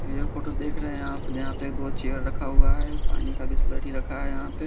ये जो फोटो देख रहे है आप यहा पे दो चेयर रखा हुआ है पानी का बिसलेरी रखा है यहा पे।